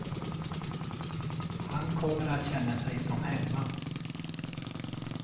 Han kommer att känna sig som hemma.